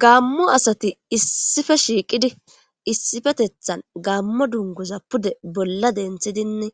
Gamo asati issipe shiqidi issipetetan gamo dunguza pude bola dentidine